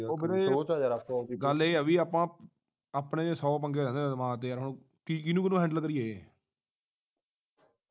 ਉਹ ਵੀਰੇ ਗੱਲ ਇਹ ਆ ਬਈ ਆਪਾ ਆਪਣੇ ਸੌ ਪੰਗੇ ਆ ਦਿਮਾਗ ਦੇ ਆ ਕੀ ਹੁਣ ਕਿਹਨੂੰ ਕਿਹਨੂੰ ਹੈੰਡਲੇ ਕਰੀਏ।